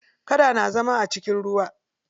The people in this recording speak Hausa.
Kada na zama a cikin ruwa.